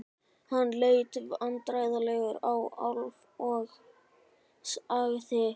Hann leit vandræðalega á Álf og sagði